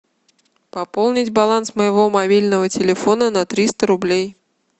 пополнить баланс моего мобильного телефона на триста рублей